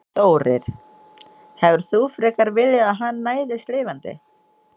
Þórir: Hefðir þú frekar viljað að hann næðist lifandi?